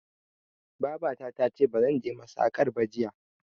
Babata tace bazan je masakar ba jiya